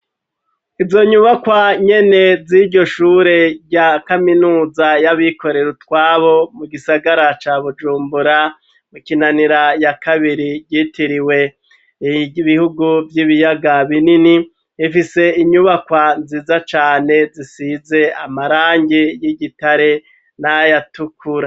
Izo nyubakwa nyene z'iryo shure rya kaminuza y'abikorera utwabo mu gisagara ca bujumbura mwikinanira ya kabiri ryitiriwe bihugu vy'ibiyaga binini ifise inyubakwa nziza cane zisize amarangi y'igitare nayatukura.